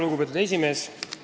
Lugupeetud esimees!